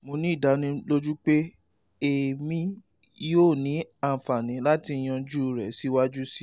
mo ni idaniloju pe emi yoo ni anfani lati yanju rẹ siwaju sii